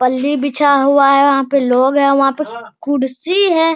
फल्ली बिछा हुआ है वहाँ पे लोग हैं वहाँ पे कुर्सी है